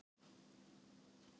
Skipti tvisvar um kyn